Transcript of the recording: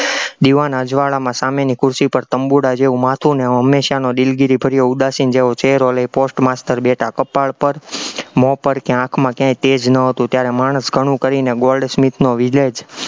દીવાન અજવાળામાં સામેની ખુરશી પર તબુંડા જેવું માથું અને હંમેશાનો દિલગીરીભર્યો ઉદાસીન જેવો ચહેરો લઇ post master બેઠા, કપાળ પર, મોં પર કે આંખમાં ક્યાંય તેજ ન હતું, ત્યારે માણસ કણું કરીને goldsmith નો village